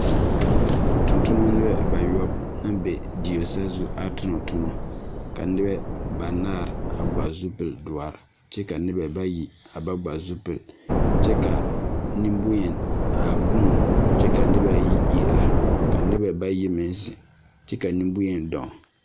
Tontonemɛ bayɔb naŋ be die saazu a tonetoma, a nobɛ banaare a gba zupil doɔre, kyɛ ka noba bayi a ba gba zupil, kyɛ ka nemboŋyeni a huun.